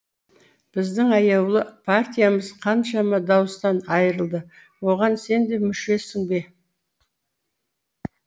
біздің аяулы партиямыз қаншама дауыстан айырылды оған сен де мүшесің бе